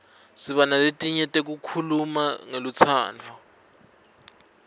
siba naletinyenti letikhuluma ngelutsandvo